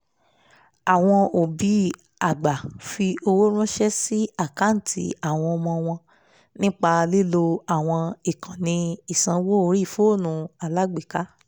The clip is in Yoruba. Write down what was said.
àwọn òbí àgbà fi owó ránsẹ́ sí àkáǹtì àwọn ọmọ wọn nípa lílo àwọn ìkànnì ìsanwó orí fóònù alágbèéká